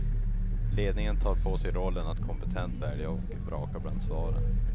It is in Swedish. Ledningen tar på sig rollen att kompetent välja och vraka bland svaren.